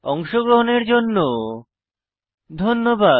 অংশগ্রহনের জন্য ধন্যবাদ